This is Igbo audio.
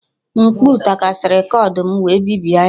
M̀kpú takasịrị kọbọd m wee bibie ya